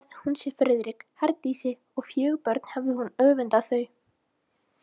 Hefði hún séð Friðrik, Herdísi og fjögur börn hefði hún öfundað þau.